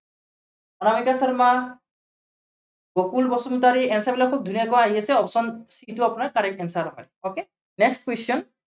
Anamika Sharma. Gokul Basumatary answer বিলাক খুব ধুনীয়াকৈ আহি আছে, option c টো আপোনাৰ correct answer হয়। okay, next question